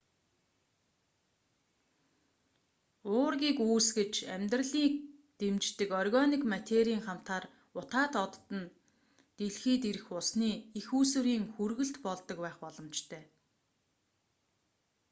уургийг үүсгэж амьдралыг дэмждэг органик материйн хамтаар утаат од нь дэлхийд ирэх усны эх үүсвэрийн хүргэлт болдог байх боломжтой